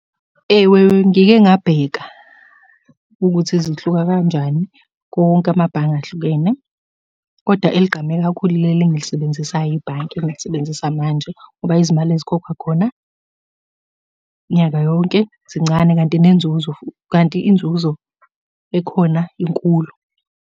Ewe ngike ngabheka, ukuthi zihluka kanjani konke amabhange ahlukene, koda eligqame kakhulu ileli engilisebenzisayo ibhanki, engilisebenzisa manje, ngoba izimali ezikhokhwa khona nyaka yonke, zincane, kanti nenzuzo kanti inzuzo ekhona inkulu.